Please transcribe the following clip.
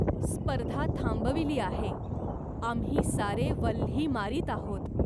स्पर्धा थांबविली आहे. आम्ही सारे वल्ही मारीत आहोत.